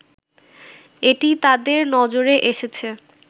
এটি তাদের নজরে এসেছে